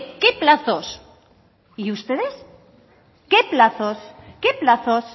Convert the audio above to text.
qué plazos y ustedes qué plazos qué plazos